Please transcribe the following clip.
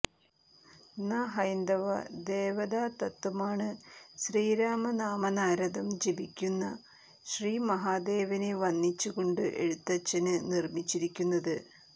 ന്ന ഹൈന്ദവ ദേവതാതത്ത്വമാണ് ശ്രീരാമനാമമനാരതം ജപിക്കുന്ന ശ്രീ മഹാദേവനെ വന്ദിച്ചുകൊണ്ടു എഴുത്തച്ഛന് നിര്മിച്ചിരിക്കുന്നത്